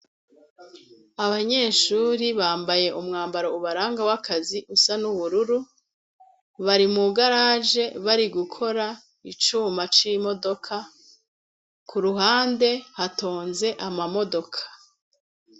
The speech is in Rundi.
Abanyeshure bambaye umwambaro ubaranga w'akazi usa n'ubururu, bari mw'igaraje bari gukora icuma c'imodoka. K'uruhande hatonze amamodoka.